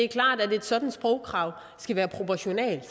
klart at et sådant sprogkrav skal være proportionalt